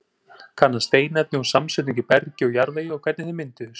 Kanna steinefni og samsetningu í bergi og jarðvegi og hvernig þeir mynduðust.